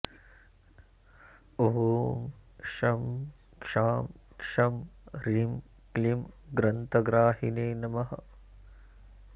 ॐ शं शां षं ह्रीं क्लीं ग्रन्थग्राहिणे नमः